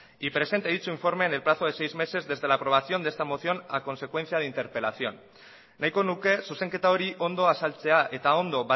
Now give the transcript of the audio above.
y presente dicho informe en el plazo de seis meses desde la aprobación de esta moción a consecuencia de interpelación nahiko nuke zuzenketa hori ondo azaltzea eta ondo